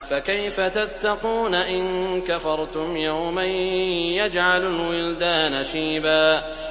فَكَيْفَ تَتَّقُونَ إِن كَفَرْتُمْ يَوْمًا يَجْعَلُ الْوِلْدَانَ شِيبًا